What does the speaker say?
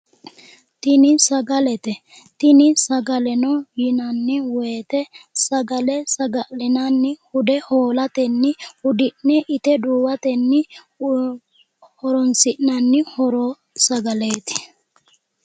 Tini sagalete tini sagaleno yinanni woyiite sagale saga'linani hude hoolatenni hudi'ne ite duuwatenni horonsi'nanni sagaleeti